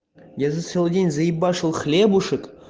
я за целый день заебашил хлебушек